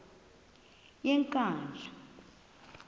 yenkandla